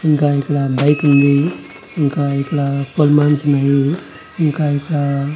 ఇంకా ఇక్కడ బైక్ ఉంది ఇంకా ఇక్కడ ఫోల్మాన్స్ ఉన్నాయి ఇంకా ఇక్కడ.